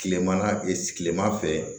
Tilema tilema fɛ